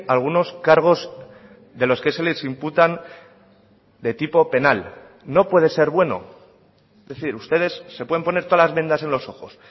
algunos cargos de los que se les imputan de tipo penal no puede ser bueno es decir ustedes se pueden poner todas las vendas en los ojos